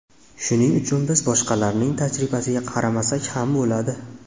Shuning uchun biz boshqalarning tajribasiga qaramasak ham bo‘ladi.